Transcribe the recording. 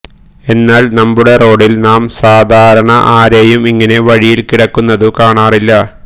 എന്നാൽ നമ്മുടെ റോഡിൽ നാം സാധാരണ ആരെയും ഇങ്ങനെ വഴിയിൽ കിടക്കുന്നതു കാണാറില്ല